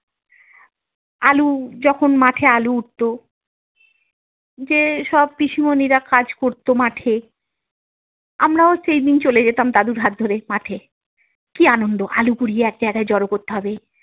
আলু যখন মাঠে আলু উঠত যেসব পিসিমনিরা কাজ করতো মাঠে আমরাও সেইদিন চলে যেতাম দাদুর হাত ধরে মাঠে কি আনন্দ আলু কুড়িয়ে এক জায়গায় জড়ো করতে হবে।